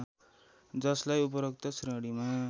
जसलाई उपरोक्त श्रेणीमा